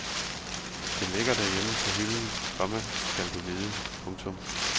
Det ligger derhjemme på hylden, komma skal du vide. punktum